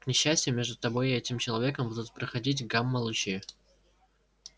к несчастью между тобой и этим человеком будут проходить гамма-лучи